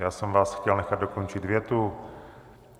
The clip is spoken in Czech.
Já jsem vás chtěl nechat dokončit větu.